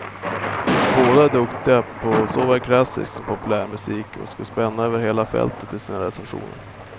Båda är duktiga på såväl klassisk som populärmusik och ska spänna över hela fältet i sina recensioner.